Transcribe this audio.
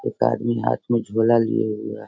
एक आदमी हाथ में झोला लिए हुए है।